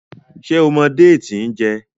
ṣe o mọ Déètì n jé?